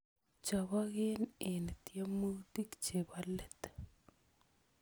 Choboken eng tyemutik chebo let